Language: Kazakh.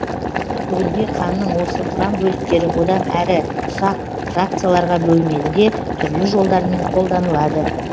бүгінде қанның осы құрамбөліктері одан әрі ұсақ фракцияларға бөлінеді де түрлі жолдармен қолданылады